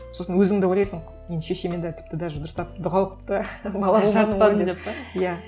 сосын өзің де ойлайсың мен шешеме де тіпті даже дұрыстап дұға оқып та иә